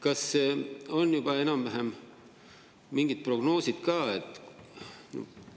Kas on juba enam-vähem mingid prognoosid ka?